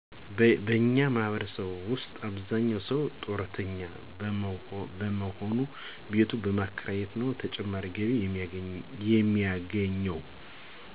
በእኛ ማህበረሰብ ውሰጥ አብዛኛው ሰው ጡረተኛ በሞሆኑ ቤቱን በማከራየት ነው ተጨማሪ ገቢ የሚያገኘው።